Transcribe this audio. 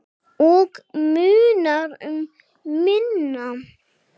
Og munar um minna!